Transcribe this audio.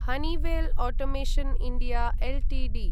Honeywell automation India Ltd